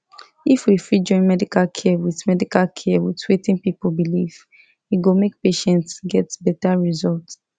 if we fit join medical care with medical care with wetin people believe e go make patients get better result